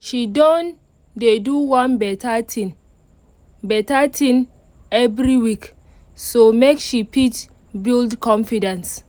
she don dey do one better thing better thing every week so make she fit build confidence